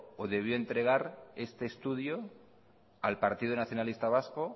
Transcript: o debió entregar este estudio al partido nacionalista vasco